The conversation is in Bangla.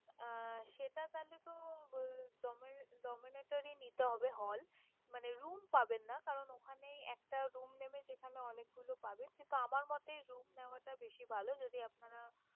আহ সেটা চাইলে তো dome~ এর domenatory নিতে হবে hall । মানে room পাবেন না কারন ওখানে একটা room নেবে যেখানে অনেকগুলো পাবেন কিন্তু আমার মতে room নেওয়াটা বেশি ভালো যদি আপনারা